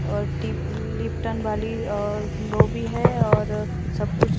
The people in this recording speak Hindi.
और टीप लिप टन वाली और लो भी है और सब कुछ --